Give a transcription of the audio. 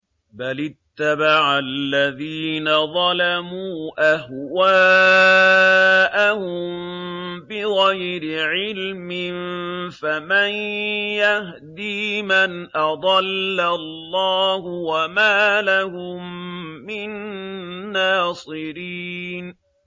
بَلِ اتَّبَعَ الَّذِينَ ظَلَمُوا أَهْوَاءَهُم بِغَيْرِ عِلْمٍ ۖ فَمَن يَهْدِي مَنْ أَضَلَّ اللَّهُ ۖ وَمَا لَهُم مِّن نَّاصِرِينَ